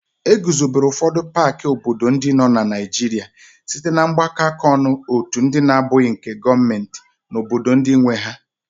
E guzobere ụfọdụ paaki obodo ndị nọ na Naịjirịa site na mgbakọ áká ọnụ otu ndị na-abụghị nke gọọmenti na obodo ndị nwe ha.